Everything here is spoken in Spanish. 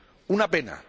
Una pena.